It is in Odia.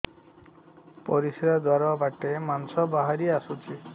ପରିଶ୍ରା ଦ୍ୱାର ବାଟେ ମାଂସ ବାହାରି ଆସୁଛି